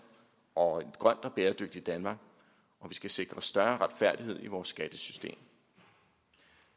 og et grønt og bæredygtigt danmark og vi skal sikre større retfærdighed i vores skattesystem